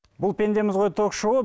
бұл пендеміз ғой ток шоуы